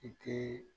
I tɛ